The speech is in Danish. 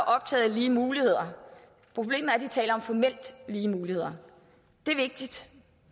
optaget af lige muligheder problemet er at de taler om formelt lige muligheder det er vigtigt